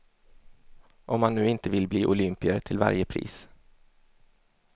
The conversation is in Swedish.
Om man nu inte vill bli olympier till varje pris.